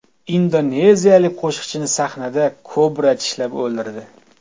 Indoneziyalik qo‘shiqchini sahnada kobra tishlab o‘ldirdi.